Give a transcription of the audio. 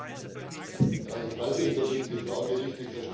Ich weiß nicht, ob ich die Frage richtig verstanden habe.